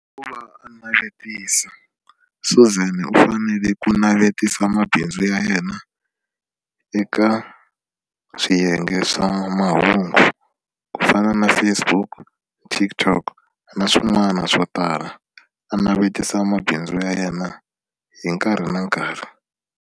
Hi ku va a navetisa Suzan u fanele ku navetisa mabindzu ya yena eka swiyenge swa mahungu ku fana na Facebook TikTok na swin'wana swo tala a navetisa mabindzu ya yena hi nkarhi na nkarhi.